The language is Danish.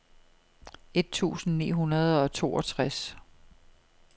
et tusind ni hundrede og toogtres